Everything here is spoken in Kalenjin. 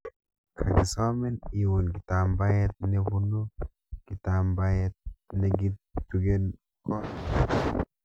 Kagisomin iun kitambaet nebunu kitambaet negitugen koot